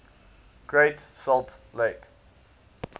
great salt lake